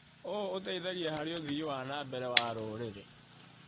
ũũ ũteithagia harĩ ũthii wa na mbere wa rũrĩrĩ .